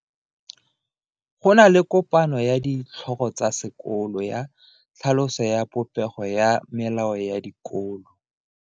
Go na le kopano ya ditlhogo tsa dikolo ya tlhaloso ya popego ya melao ya dikolo.